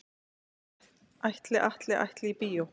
Ætli Atli ætli í bíó?